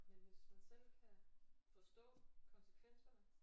Men hvis man selv kan forstå konsekvenserne